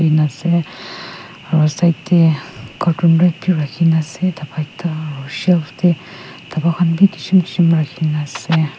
na ase aru side te carton red bi rakhi ne ase daba ekta aru shelf te daba khan bi kishim kishim rakhi ne ase.